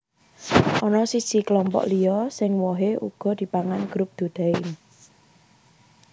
Ana siji klompok liya sing wohé uga dipangan Group Dudaim